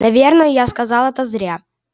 наверное я сказал это зря